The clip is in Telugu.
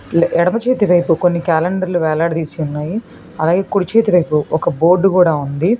ఎడమ చేతి వైపు కొన్ని క్యాలెండర్లు వేలాడదీసి ఉన్నాయి అలాగే కుడి చేతి వైపు ఒక బోర్డు కూడా ఉంది.